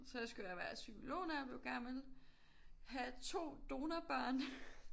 Så skulle jeg være psykolog når jeg blev gammel. Have 2 donorbørn